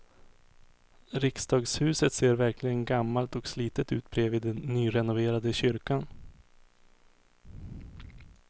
Riksdagshuset ser verkligen gammalt och slitet ut bredvid den nyrenoverade kyrkan.